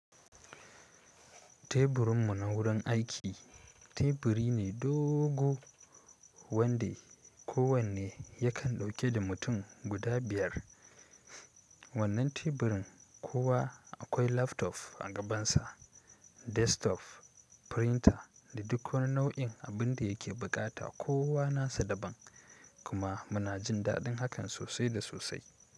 Teburinmu na wurin aiki teburi ne dogo wande kowane yakan dauke da mutum guda biyar. Wannan teburin kowa akwai laftof a gabansa, destof, firinta da duk wani nau'in abin da yake bukata. Kowa nasa daban kuma muna jin dadin hakan sosai da sosai.